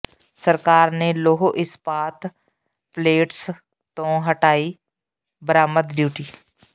ਸਰਕਾਰ ਨੇ ਲੋਹ ਇਸਪਾਤ ਪਲੇਟਸ ਤੋਂ ਹਟਾਈ ਬਰਾਮਦ ਡਿਊਟੀ